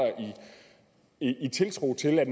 i tiltro til at